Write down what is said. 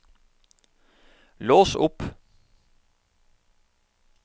lås opp